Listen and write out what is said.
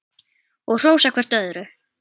Og hrósa hvert öðru.